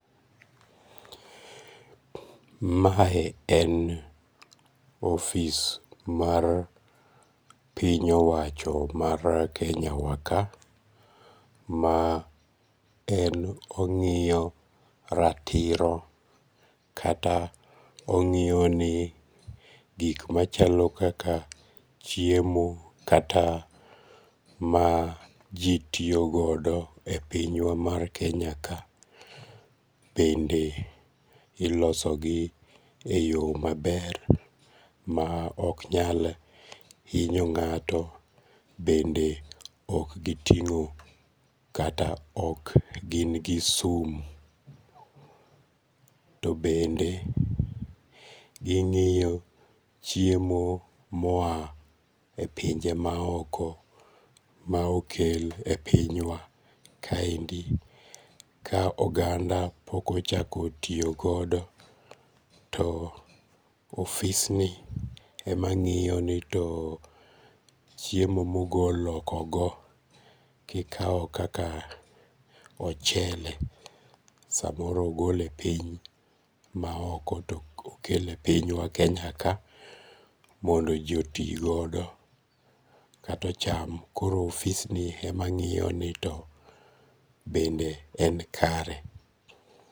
Mae en office mar piny owach mar Kenyawa ka ma en ongi'yo ratiro kata ongi'yoni gik machalo kaka chiemo kata ma ji tiyogodo e pinywa mar Kenya kae bende ilosogi e yo maber ma ok nyal hinyo nga'to bende ok gitingo' bende ok gin gi sum, to bende ging'yo chiemo ma oya e pinje maoko ma okel e pinywa kaendi ka oganda okochako tiyo godo to ofisni emangi'yo too chiemo ma ogol hoko go kikawo kaka ochele samoro ogole e piny maoko to okele e pinywa ma Kenya ka mondo ji otigodo kata ocham, koro ofisni ema ngi'yo to be en kare